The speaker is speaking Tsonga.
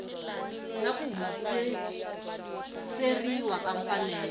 na ku hundziseriwa ka mfanelo